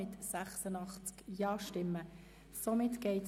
Somit entfällt hier eine weitere Abstimmungskaskade.